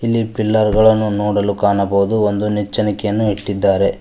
ಇಲ್ಲಿ ಪಿಲ್ಲರ್ ಗಳನ್ನು ನೋಡಲು ಕಾಣಬಹುದು ಒಂದು ನೆಚ್ಚಿನಿಕೆಯನ್ನು ಇಟ್ಟಿದ್ದಾರೆ.